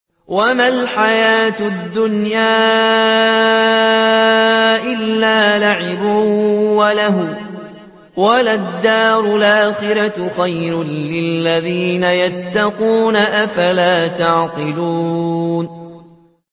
وَمَا الْحَيَاةُ الدُّنْيَا إِلَّا لَعِبٌ وَلَهْوٌ ۖ وَلَلدَّارُ الْآخِرَةُ خَيْرٌ لِّلَّذِينَ يَتَّقُونَ ۗ أَفَلَا تَعْقِلُونَ